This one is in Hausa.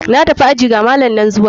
Na tafi aji, ga malam nan zuwa.